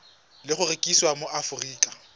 le go rekisiwa mo aforika